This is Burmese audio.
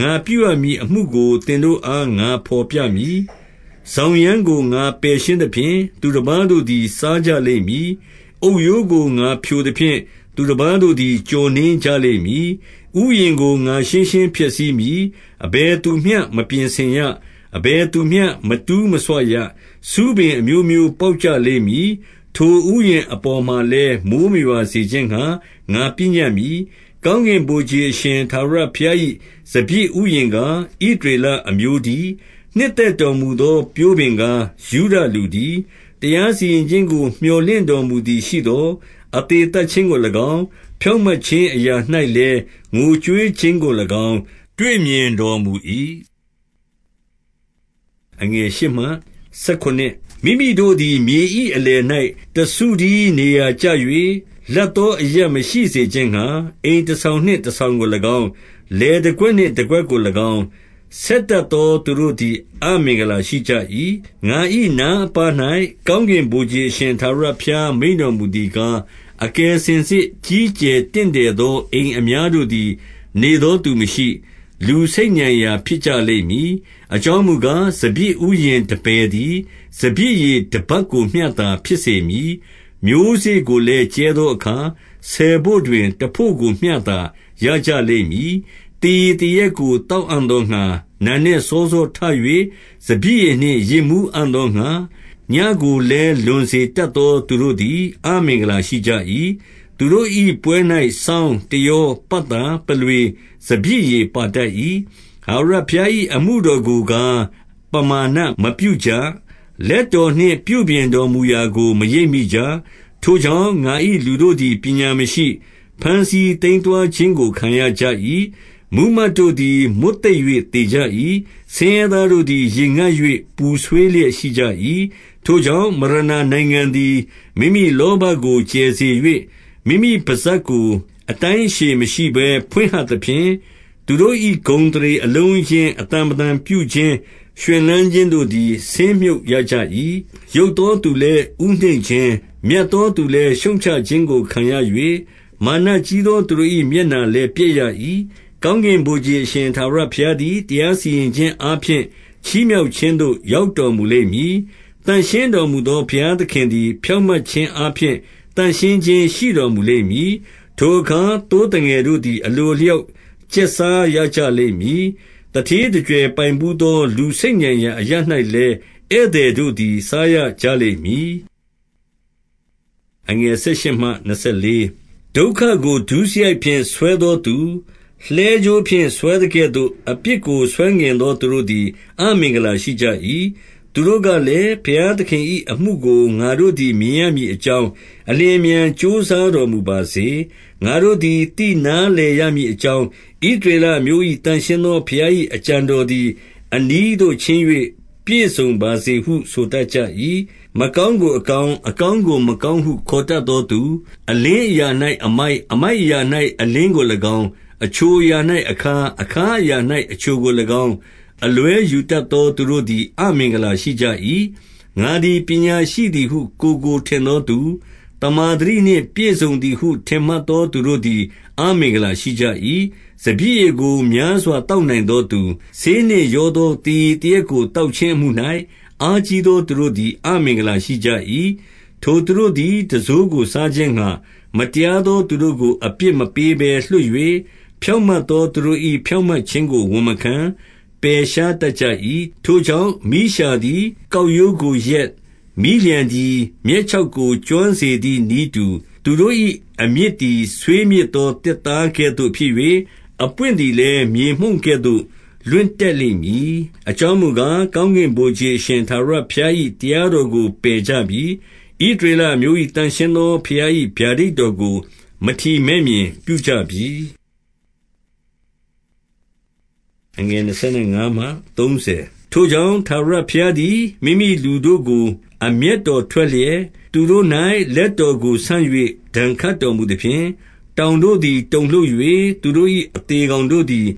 ငါပြု ရမည်အမှုကို သင်တို့အား ငါဘော်ပြမည်။ စောင်းရန်းကို ငါပယ်ရှင်းသဖြင့်။ သူတပါးတို့သည် စားကြလိမ့်မည်။ အုတ်ရိုကိုဖျိုသဖြင့်၊ သူတပါးတို့သည် ကျော်နင်းကြ လိမ့်မည်။ ဥယျာဉ်ကို ငါရှင်းရှင်းဖျက်ဆီးမည်။ အဘယ်သူ မျှ မပြင်ဆင်ရ။ အဘယ်သူမျှ မတူးဆွရ။ ဆူးပင် အမျိုးမျိုးပေါက်ကြလိမ့်မည်။ ထိုဥယျာဉ်အပေါ်မှာလည်း မိုဃ်းမရွာစေခြင်းငှါ ငါပညတ်မည်။ ကောင်းကင်ဗိုလ်ခြေအရှင် ထာဝရဘုရား၏ စပျစ်ဥယျာဉ်ကား၊ ဣသရေလအမျိုးတည်း။ နှစ်သက် တော်မူသော ပျိုးပင်ကား၊ ယုဒလူတည်း၊ တရားစီရင်ခြင်း ကို မြော်လင့်တော်မူခြင်းအရာ၌လည်း ငိုကြွေးခြင်းကို၎င်း တွေ့မြင်တော်မူ၏။ မိမိတို့သည် မြေ၏အလယ်၌ တစုတည်းနေရာ ကျ၍၊ လပ်သောအရပ် မရှိစေခြင်းငှါ၊ အိမ်တဆောင်နှင့် တဆောင်ကို၎င်း၊ လယ်တကွက်နှင့်တကွက်ကို၎င်း၊ ဆက်တတ်သောသူတို့သည် အမင်္ဂလာရှိကြ၏။ ငါ၏နားအပါး၌ ကောင်းကင်ဗိုလ်ခြေအရှင် ထာဝရဘုရား မိန့်တော်မူသည်ကား၊ အကယ်စင်စစ် ကြီး ကျယ်တင့်တယ်သော အိမ်အများတို့သည် နေသောသူ မရှိ။ လူဆိတ်ညံရာဖြစ်ကြလိမ့်မည်။ အကြောင်းမူကား၊ စပျစ်ဥယျာဉ်တပယ်သည် စပျစ်ရည်တဗတ်ကိုမျှသာ ဖြစ်စေမည်။ မျိုးစေ့ကိုလည်း ကြဲသောအခါ၊ ဆယ်ဘို့တွင်တဘို့ကိုမျှသာ ရကြလိမ့်မည်။ သေရည်သေရက်ကို သောက်အံ့သောငှါ၊ နံနက် စောစောထ၍ စပျစ်ရည်နှင့် ယစ်မူးအံ့သောငှါ၊ ညဉ့်ကို လည်း လွန်စေတတ်သော သူတို့သည် အမင်္ဂလာရှိကြ၏။ သူတို့၏ပွဲ၌စောင်း၊ တယော၊ ပတ်သာ၊ ပုလွေ၊ စပျစ်ရည်ပါတတ်၏။ ထာဝရဘုရား၏ အမှုတော်ကိုကား၊ ပမာဏမပြုကြ။ လက်တော်နှင့် ပြုပြင်တော်မူရာကို မရိပ် မိကြ။ ထိုကြောင့် ငါ၏လူတို့သည် ပညာမရှိ၊ ဘမ်းဆီး သိမ်းသွားခြင်းကို ခံရကြ၏။ မှူးမတ်တို့သည် မွတ်သိပ်၍ သေကြ၏။ ဆင်းရဲသားတို့သည် ရေငတ်၍ ပူဆွေးလျက် ရှိကြ၏။ ထိုကြောင့်၊ မရဏာနိုင်ငံသည် မိမိလောဘကို ကျယ်စေ၍ မိမိပစပ်ကိုအတိုင်းအရှည်မရှိဘဲ ဖွင့်ဟ သဖြင့်၊ သူတို့၏ ဂုဏ်အသရေအလုံးအရင်း၊ အသံဗလံပြု ခြင်း၊ ရွှင်လန်းခြင်းတို့သည် ဆင်းမြုပ်ရကြ၏။ ယုတ်သောသူလည်း ဦးနှိမ့်ခြင်း၊ မြတ်သော သူလည်း ရှုတ်ချခြင်းကိုခံရ၍၊ မာနကြီးသော သူတို့၏ မျက်နှာလည်းပျက်ရ၏။ ကောင်းကင်ဗိုလ်ခြေ အရှင်ထာဝရဘုရားသည် တရားစီရင်ခြင်းအားဖြင့် ချီးမြှောက်ခြင်းသို့ ရောက်တော် မူလိမ့်မည်။ သန့်ရှင်းတော်မူသော ဘုရားသခင်သည် ဖြောင့်မတ်ခြင်းအားဖြင့်၊ သန့်ရှင်းခြင်းရှိတော်မူလိမ့်မည်။ ထိုအခါ သိုးသငယ်တို့သည် အလိုအလျောက် ကျက်စားကြလိမ့်မည်။ သူဌေးသူကြွယ်ပိုင်းဘူး၍။ လူဆိတ်ညံရာအရပ်၌လည်း ဧည့်သည်တို့သည် စားရကြ လိမ့်မည်။ ဒုက္ခကို ဒုစရိုက်ဖြင့် ဆွဲသောသူ၊ လှည်းကြိုးဖြင့် ဆွဲသကဲ့သို့၊ အပြစ်ကိုဆွဲငင်သော သူတို့သည် အမင်္ဂလာ ရှိကြ၏။ သူတို့ကလည်း၊ ဘုရားသခင်၏အမှုကို ငါတို့ သည် မြင်ရမည်အကြောင်း၊ အလျင်အမြန်ကြိုးစားတော် မူပါစေ။ ငါတို့သည် သိနားလည်ရမည်အကြောင်း၊ ဣသ ရေလအမျိုး၏သန့်ရှင်းသော ဘုရား၏အကြံတော်သည်၊ အနီးသို့ချဉ်း၍ ပြည့်စုံပါစေဟု ဆိုတတ်ကြ၏။ မကောင်းကိုအကောင်း၊ အကောင်းကိုမကောင်း ဟု ခေါ်တတ်သောသူ၊ အလင်းအရာ၌အမိုက်၊ အမိုက် အရာ၌ အလင်းကို၎င်း၊ အချိုအရာ၌ အခါး၊ အခါးအရာ ၌အချိုကို၎င်း၊ အလွဲယူတတ်သော သူတို့သည် အမင်္ဂလာ ရှိကြ၏။ ငါသည် ပညာရှိသည်ဟု ကိုယ်ကိုထင်သောသူ၊ သမ္မာသတိနှင့် ပြည့်စုံသည်ဟု ထင်မှတ်သောသူတို့သည် အမင်္ဂလာရှိကြ၏။ စပျစ်ရည်ကို များစွာသောက်နိုင်သောသူ၊ ဆေးနှင့်ရောသော သေရည်သေရက်ကို သောက်ခြင်း အမှု၌၊ အားကြီးသော သူတို့သည် အမင်္ဂလာရှိကြ၏။ ထိုသူတို့သည် တံစိုးကိုစားခြင်းငှါ၊ မတရားသော သူတို့ကို အပြစ်မပေးဘဲလွှတ်၍၊ ဖြောင့်မတ်သောသူတို့၏ ဖြောင့်မတ်ခြင်းကို ဝန်မခံ၊ ပယ်ရှားတတ်ကြ၏။ ထိုကြောင့်၊ မီးလျှာသည် ကောက်ရိုးကိုလျက်၊ မီးလျှံသည် မြက်ခြောက်ကို ကျွမ်းစေသည်နည်းတူ၊ သူတို့၏အမြစ်သည် ဆွေးမြေ့သော သစ်သားကဲ့သို့ဖြစ်၍၊ အပွင့်သည်လည်း မြေမှုန့်ကဲ့သို့ လွင့်တတ်လိမ့်မည်။ အကြောင်းမူကား၊ ကောင်းကင်ဗိုလ်ခြေ အရှင်ထာဝရ ဘုရား၏တရားတော်ကို ကယ်ကြပြီ။ ဣသရေလအမျိုး ၏သန့်ရှင်းသော ဘုရား၏ဗျာဒိတ်တော်ကို မထီမဲ့မြင် ပြုကြပြီ။ ထိုကြောင့်၊ ထာဝရဘုရားသည် မိမိလူတို့ကို အမျက်တော်ထွက်လျက်၊ သူတို့၌လက်တော်ကိုဆန့်၍ ဒဏ်ခတ် တော်မူသဖြင့်၊ တောင်တို့သည်တုန်လှုပ်၍၊ သူတို့၏အသေ ကောင်တို့သည်